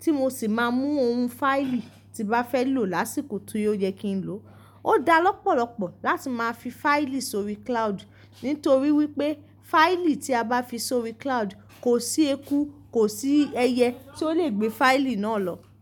tí mo sì máa mú oun fáìlì tí mbá fẹ́ lò lásìkò ti o yẹ kí n lo. Ó da lọ́pọ̀lọ́pọ̀ láti máa fi fáìlì sórí cloud, nítorí wípé fáìlì tí a bá fi sórí cloud kò sí eku, kò sí ẹyẹ tí ó lè gbé fáìlì náà lọ.